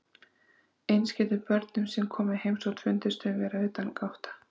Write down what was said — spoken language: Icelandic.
Eins getur börnunum sem koma í heimsókn fundist þau vera utangátta.